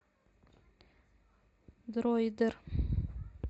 дроидер